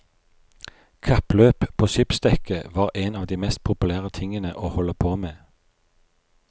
Kappløp på skipsdekket var en av de mest populære tingene å holde på med.